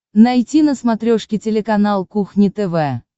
найти на смотрешке телеканал кухня тв